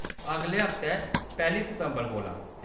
अगले हफ्तै, पैह्‌‌‌ली सितंबर कोला।